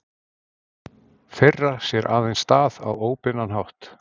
Þeirra sér aðeins stað á óbeinan hátt.